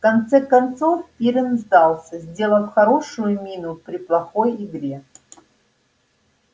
в конце концов пиренн сдался сделав хорошую мину при плохой игре